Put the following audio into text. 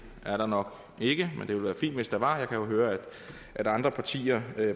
er der nok ikke men det ville være fint hvis der var jeg kan jo høre at andre partier